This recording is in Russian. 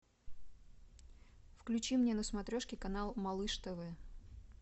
включи мне на смотрешке канал малыш тв